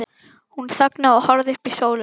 Hún þagnaði og horfði upp í sólina.